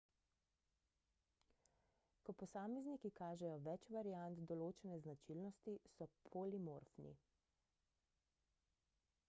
ko posamezniki kažejo več variant določene značilnosti so polimorfni